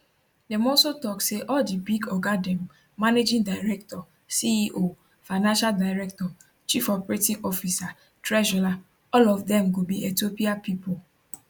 dem also tok say all di big oga dem managing director ceo financial director chief operating officer treasurer all of dem go be ethiopia pipo